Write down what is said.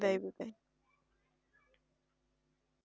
বিদায় বিদায়